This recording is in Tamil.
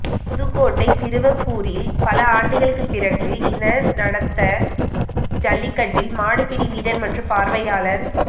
புதுக்கோட்டை திருவப்பூரில் பல ஆண்டுகளுக்கு பிறகு இன நடந்த ஜல்லிக்கட்டில் மாடுபிடி வீரர் மற்றும் பார்வையாளர்